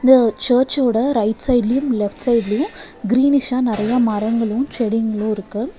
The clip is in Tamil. இந்த சர்ச்சோட ரைட் சைட்லையும் லெஃப்ட் சைட்லையும் கிரீனிஷா நறையா மரங்களும் செடிங்களும் இருக்கு.